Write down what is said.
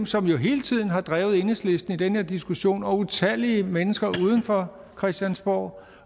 som jo hele tiden har drevet enhedslisten i den her diskussion og utallige mennesker uden for christiansborg